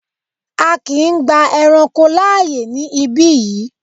A kíì gba ẹranko láàyè ní ibí yìí!